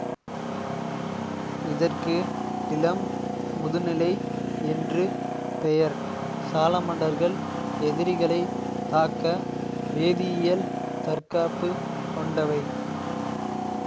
இதற்கு இளம் முதுநிலை என்று பெயர் சாலமண்டர்கள் எதிரிகளைத் தாக்க வேதியியல் தற்காப்பு கொண்டவை